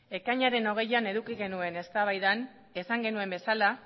ekainaren hogeian eduki genuen eztabaidan esan genuen bezala